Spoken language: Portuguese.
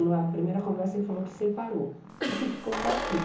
Na primeira conversa ele falou que separou e que ficou com a filha.